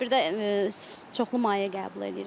Bir də çoxlu maye qəbul eləyirəm.